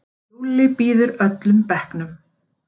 Lúlli býður öllum bekknum.